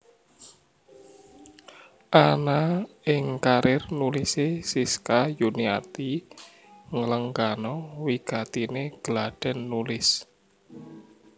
Ana ing karièr nulisé Siska Yuniati nglenggana wigatiné gladhèn nulis